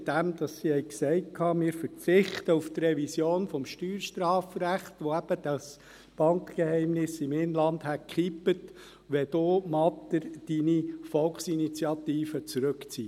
Man hat gesagt, man verzichte auf die Revision des Steuerstrafrechts, welche das Bankgeheimnis im Inland gekippt hätte, wenn Herr Matter seine Volksinitiative zurückziehe.